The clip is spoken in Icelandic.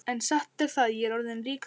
En satt er það, ég er orðinn ríkur maður.